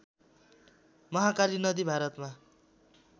महाकाली नदी भारतमा